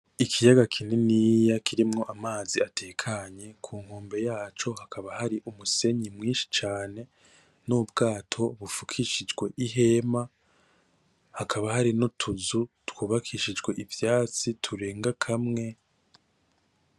Ikiyaga kininiya kirimwo amazi atekanye kunkombe yaco hakaba hari umusenyi mwinshi cane, nubwato bufukishijwe ihema hakaba harinutuzu twubakishijwe ivyatsi turenga kamwe.